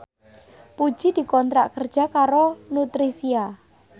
Puji dikontrak kerja karo Nutricia